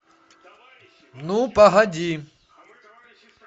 ну погоди